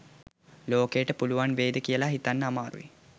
ලෝකයට පුලුවන් වෙයිද කියලා හිතන්නත් අමාරුයි.